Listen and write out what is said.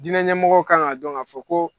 Diinɛɲɛmɔgɔw kan ka dɔn ka fɔ ko